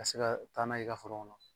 Ka se ka taa n'a ye i ka foro kɔnɔ